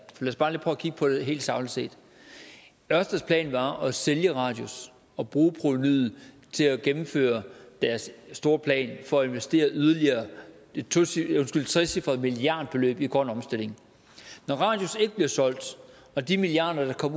for at kigge på det helt sagligt set ørsteds plan var at sælge radius og bruge provenuet til at gennemføre deres store plan for at investere yderligere et trecifret milliardbeløb i grøn omstilling når radius ikke bliver solgt og de milliarder der kunne